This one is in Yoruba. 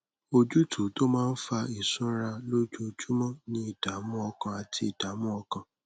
ojútùú tó máa ń fa ìsunra lójoojúmọ ni ìdààmú ọkàn àti ìdààmú ọkàn